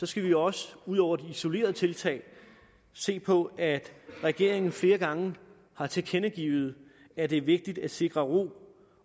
skal vi også ud over de isolerede tiltag se på at regeringen flere gange har tilkendegivet at det er vigtigt at sikre ro